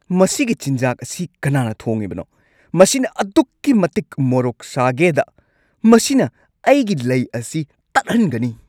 ꯃꯁꯤꯒꯤ ꯆꯤꯟꯖꯥꯛ ꯑꯁꯤ ꯀꯅꯥꯅ ꯊꯣꯡꯉꯤꯕꯅꯣ? ꯃꯁꯤ ꯑꯗꯨꯛꯀꯤ ꯃꯇꯤꯛ ꯃꯔꯣꯛ ꯁꯥꯒꯦꯗ ꯃꯁꯤꯅ ꯑꯩꯒꯤ ꯂꯩ ꯑꯁꯤ ꯇꯠꯍꯟꯒꯅꯤ꯫